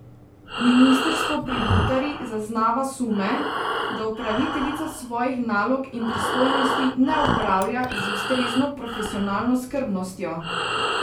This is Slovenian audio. Ministrstvo pri Butari zaznava sume, da upraviteljica svojih nalog in pristojnosti ne opravlja z ustrezno profesionalno skrbnostjo.